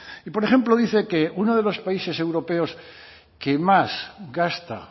y por ejemplo dice que uno de los países europeos que más gasta